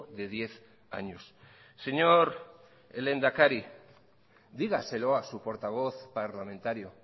de diez años señor lehendakari dígaselo a su portavoz parlamentario